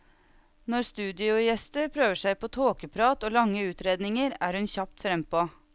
Når studiogjester prøver seg på tåkeprat og lange utredninger, er hun kjapt frempå.